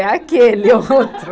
É aquele outro.